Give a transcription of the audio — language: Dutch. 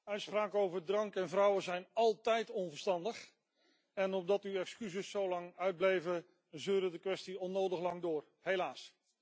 Uitspraken over drank en vrouwen zijn altijd onverstandig en omdat uw excuses zo lang uitbleven, zeurde de kwestie onnodig lang door, helaas.